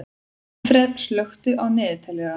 Manfreð, slökktu á niðurteljaranum.